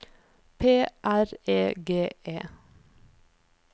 P R E G E